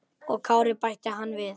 Og Kári, bætti hann við.